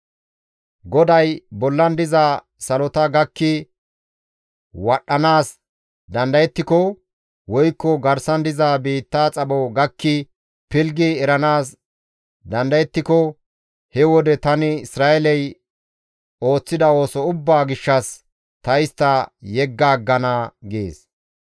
GODAY, «Bollan diza salota gakki wadhdhanaas dandayettiko, woykko garsan diza biitta xapho gakki pilggi eranaas dandayettiko he wode tani Isra7eeley ooththida ooso ubbaa gishshas ta istta yegga aggana» gees.